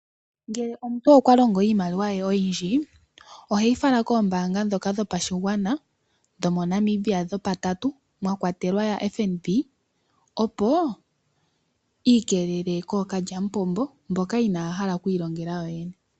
Ngele omuntu okwa longo iimaliwa ye oyindji oheyi fala koombaanga ndhoka dhopashigwana dhomoNamibia dhopatatu mwa kwatelwa yaFNB opo iikeelele kookalyamupombo mboka inaaya hala kwiilongela yoye ne .